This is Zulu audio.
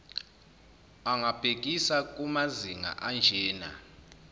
angabhekisa kumazinga anjena